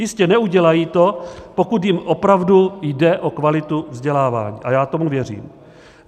Jistě, neudělají to, pokud jim opravdu je o kvalitu vzdělávání, a já tomu věřím.